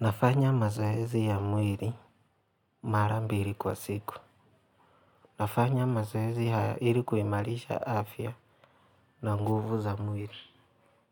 Nafanya mazoezi ya mwili marambili kwa siku. Nafanya mazaezi haya ilikuimarisha afya na nguvu za mwili.